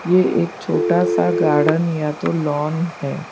ये एक छोटा सा गार्डन या तो लॉन है।